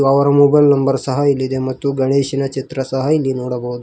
ಹಾಗು ಅವರ mobile number ಸಹ ಇಲ್ಲಿದೆ ಮತ್ತು ಗಣೇಶನ ಚಿತ್ರಸಹ ಇಲ್ಲಿ ನೋಡಬಹುದು.